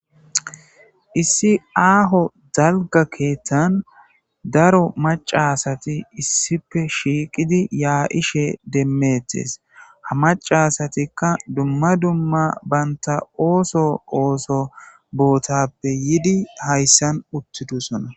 Issi aaho dalga keettan daro macasati issipe shiiqidi yaa7ishe demmettes ha macasatikka dumma dumma baynta ooso ooso bootappe yidi hayssan uttidusona